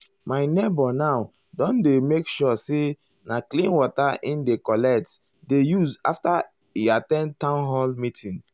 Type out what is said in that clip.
my neighbour now don dey make sure say na clean water e dey collect dey use after e at ten d townhall meeting.